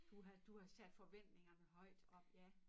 Du havde du havde sat forventningerne højt op ja